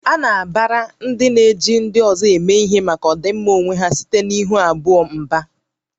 A na-agbara ndị na-eji ndị ọzọ eme ihe maka ọdịmma onwe ha site na ihu abụọ